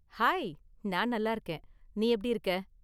Hi, நான் நல்லா இருக்கேன். நீ எப்படி இருக்க?